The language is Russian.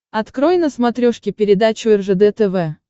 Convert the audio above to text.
открой на смотрешке передачу ржд тв